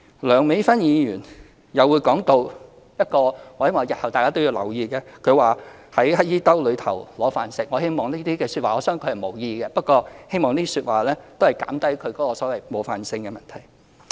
梁美芬議員又談到——不過我希望日後大家都要留意——她說"在乞兒兜揦飯食"，我相信她是無意的，不過希望可以減低這些說話冒犯的問題。